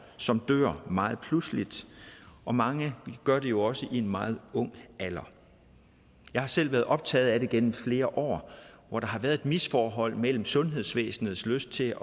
som dør meget pludseligt og mange jo også i en meget ung alder jeg har selv været optaget af det gennem flere år hvor der har været misforhold mellem sundhedsvæsenets lyst til